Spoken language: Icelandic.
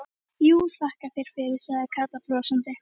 Jú, þakka þér fyrir sagði Kata brosandi.